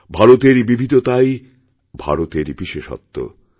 ভারতের বিবিধতাই ভারতের বিশেষত্ব